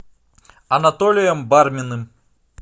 анатолием барминым